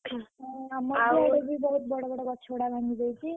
ଆମରବି ଆଡେ ବହୁତ୍ ବଡ ବଡ ଗଛ ଗୁଡାକ ଭାଙ୍ଗି ଯାଇଛି।